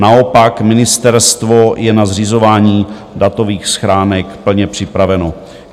Naopak, ministerstvo je na zřizování datových schránek plně připraveno.